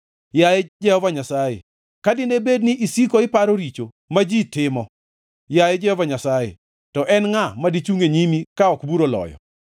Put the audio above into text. Yaye Jehova Nyasaye, ka dine bed ni isiko iparo richo, ma ji timo, yaye Jehova Nyasaye, to en ngʼa ma dichungʼ e nyimi ka ok bura oloyo?